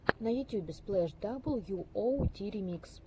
на ютюбе сплэш дабл ю оу ти ремикс